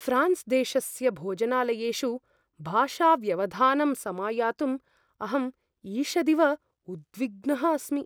France देशस्य भोजनालयेषु भाषाव्यवधानं समायातुं अहं ईषदिव उद्विग्नः अस्मि।